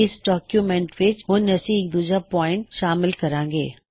ਇਸ ਡੌਕਯੁਮੈੱਨਟ ਵਿੱਚ ਹੁਣ ਅਸੀ ਇਕ ਦੂਜਾ ਪੌਇਨਟ ਸ਼ਾਮਿਲ ਕਰਾਂਗੇ